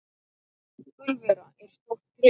Gulfura er stórt tré.